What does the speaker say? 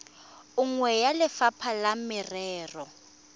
nngwe ya lefapha la merero